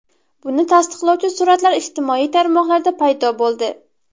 Buni tasdiqlovchi suratlar ijtimoiy tarmoqlarda paydo bo‘ldi.